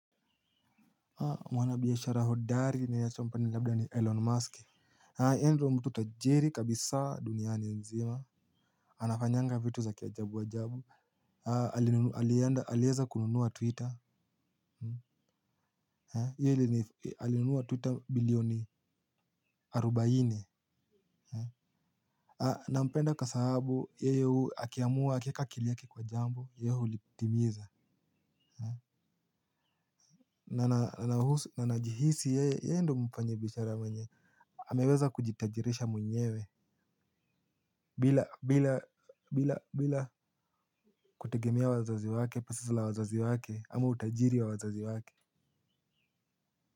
Mwana biashara hodari ni yachompani labda ni Elon Musk. Yeye ndo mtu tajiri kabisa duniani mzima. Anafanyanga vitu za kiajabu ajabu. Alienda, alieza kununua Twitter. Ye alini, alinunua Twitter bilioni arubaini. Nampenda kwa sahabu, yeye akiamua, akieka akili yake kwa jambo ye hulitimiza. Na najihisi yeye, ndo mfanyi biashara mwenye ameweza kujitajirisha mwenyewe. Bila bila bila bila kutegemea wazazi wake. Pesa za la wazazi wake ama utajiri wa wazazi wake.